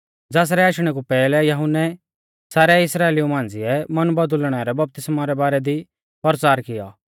ज़ासरै आशणै कु पैहलै यहुन्नै सारै इस्राइलिऊ मांझ़िऐ मन बौदुल़णै रै बपतिस्मौ रै बारै दी परचार कियौ